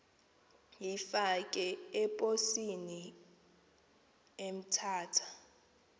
uyifake eposini emthatha